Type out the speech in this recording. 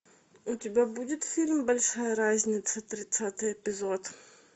у тебя будет фильм большая разница тридцатый эпизод